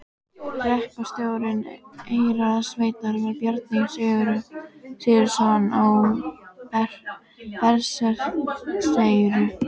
Hreppstjóri Eyrarsveitar var Bjarni Sigurðsson á Berserkseyri.